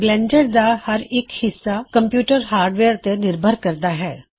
Blender ਦਾ ਹਰ ਹਿੱਸਾ ਕੰਪਿਊਟਰ ਹਾਰਡਵੇਅਰ ਤੇ ਨਿਰਭਰ ਹੈ